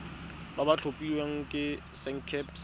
ba ba tlhophilweng ke sacnasp